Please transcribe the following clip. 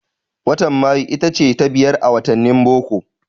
Watan Mayu itace ta biyar a wattanin boko.